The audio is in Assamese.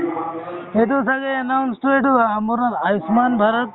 সেইটো চাগে announce টোৱে টো আয়ুষ্মান ভাৰত